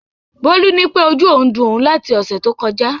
Bólú nípé ojú òun ń dun òun láti ọ̀sẹ̀ tó kọjá